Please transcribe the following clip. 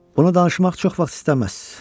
Bunu danışmaq çox vaxt istəməz.